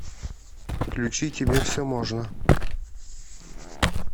включи тебе все можно